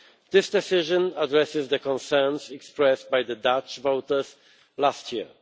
This decision addresses the concerns expressed by the Dutch voters last year.